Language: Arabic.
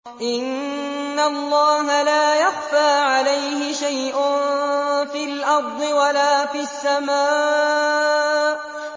إِنَّ اللَّهَ لَا يَخْفَىٰ عَلَيْهِ شَيْءٌ فِي الْأَرْضِ وَلَا فِي السَّمَاءِ